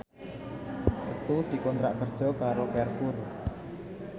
Setu dikontrak kerja karo Carrefour